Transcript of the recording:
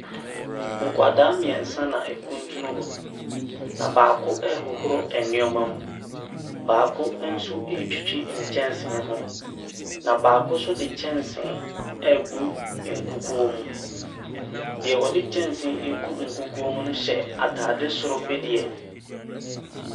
Nkwadaa miensa na ɛkuntun hɔ, na baako ɛhohoro ɛneɛma mu , na baako nso etwtwi nkyɛnsee ho. Na baako nso de nkyɛnsee egu nkukuo mu. Deɛ ade. nkyɛnsee egu nkukuo mu no hyɛ ataade soro bi deɛ.